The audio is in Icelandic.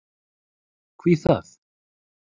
Hví það?